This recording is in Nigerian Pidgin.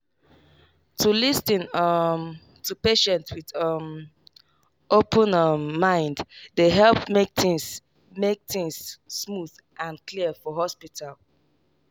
to lis ten um to patient with um open um mind dey help make things make things smooth and clear for hospital.